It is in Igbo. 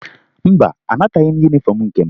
Mba, anataghị m yunifọmụ nke m